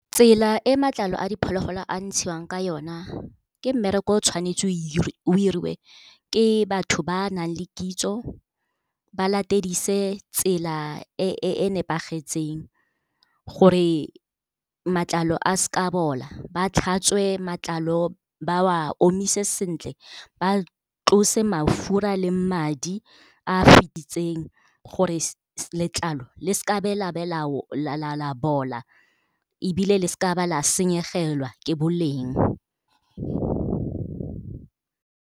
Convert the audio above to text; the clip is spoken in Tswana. Tsela e matlalo a diphologolo a ntshiwang ka yona, ke mmereko o tshwanetse o 'iriwe ke batho ba nang le kitso, ba latedise tsela e e nepagetseng, gore matlalo a seka a bola. Ba tlhatswe matlalo, ba wa omise sentle, ba tlose mafura le madi a fititseng gore letlalo le seka la be, la be la bola. Ebile le seka ba la senyegelwa ke boleng.